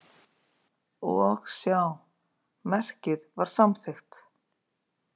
Og sjá, merkið var samþykkt!